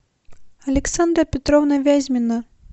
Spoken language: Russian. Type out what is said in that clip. александра петровна вязьмина